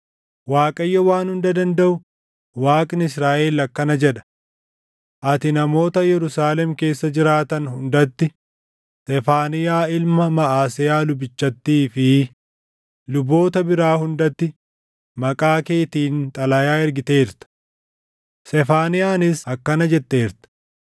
“ Waaqayyo Waan Hunda Dandaʼu, Waaqni Israaʼel akkana jedha: Ati namoota Yerusaalem keessa jiraatan hundatti, Sefaaniyaa ilma Maʼaseyaa lubichaattii fi luboota biraa hundatti maqaa keetiin xalayaa ergiteerta. Sefaaniyaanis akkana jetteerta;